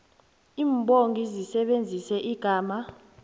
imbongi isebenzise igama